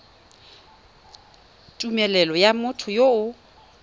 tumelelo ya motho yo o